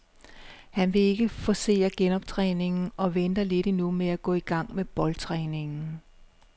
Han vil ikke forcere genoptræningen og venter lidt endnu med at gå i gang med boldtræningen.